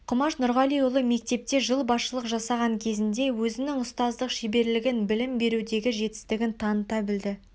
құмаш нұрғалиұлы мектепте жыл басшылық жасаған кезінде өзінің ұстаздық шеберлігін білім берудегі жетістігін таныта білді